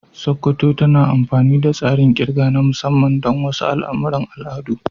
Sokoto tana amfani da tsarin ƙirga na musamman don wasu al'amuran al'adu.